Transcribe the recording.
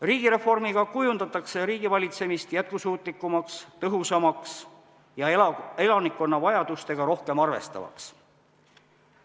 Riigireformiga kujundatakse riigivalitsemist jätkusuutlikumaks, tõhusamaks ja elanikkonna vajadustega rohkem arvestavaks.